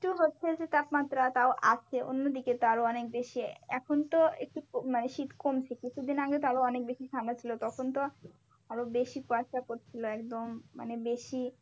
একটু হচ্ছে যে তাপমাত্রা তাও আছে অন্যদিকে তো আরো অনেক বেশি এখন তো একটু মানে শীত কমছে কিছুদিন আগে তো আরো অনেক বেশি ঠান্ডা ছিল তখন তো আরো বেশি কুয়াশা পড়ছিলো একদম মানে বেশি